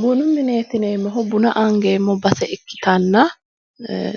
Bunu mineeti yineemmohu, buna angeemmo base ikkitanna